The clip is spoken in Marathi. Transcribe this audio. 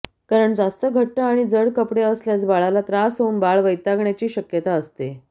कारण जास्त घट्ट आणि जड कपडे असल्यास बाळाला त्रास होऊन बाळ वैतागण्याची शक्यता असते